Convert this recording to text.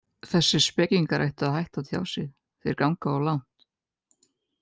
Þessir spekingar ættu að hætta að tjá sig, þeir ganga of langt.